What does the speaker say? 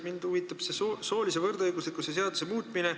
Mind huvitab soolise võrdõiguslikkuse seaduse muutmine.